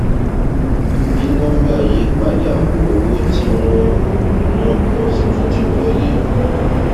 bí nọmbà yí padà owó tí wọn ná pọ ju tí wọlé